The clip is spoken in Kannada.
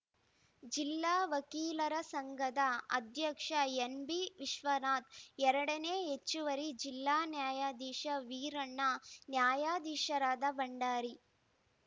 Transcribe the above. ಜಿಲ್ಲಾ ವಕೀಲರ ಸಂಘದ ಅಧ್ಯಕ್ಷ ಎನ್‌ಬಿವಿಶ್ವನಾಥ್‌ ಎರಡನೇ ಹೆಚ್ಚುವರಿ ಜಿಲ್ಲಾ ನ್ಯಾಯಾಧೀಶ ವೀರಣ್ಣ ನ್ಯಾಯಾಧೀಶರಾದ ಭಂಡಾರಿ